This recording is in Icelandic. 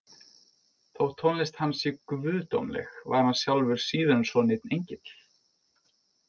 Þótt tónlist hans sé guðdómleg var hann sjálfur síður en svo neinn engill.